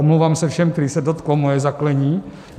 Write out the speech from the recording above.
Omlouvám se všem, kterých se dotklo moje zaklení.